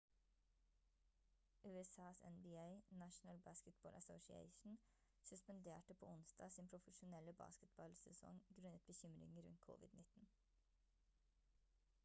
usas nba national basketball association suspenderte på onsdag sin profesjonelle basketballsesong grunnet bekymringer rundt covid-19